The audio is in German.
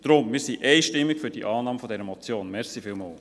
Deshalb sind wir einstimmig für die Annahme dieser Motion.